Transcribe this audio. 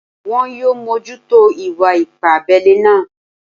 Wọn yóò mójútó ìwà ipá abẹ́lẹ́ náà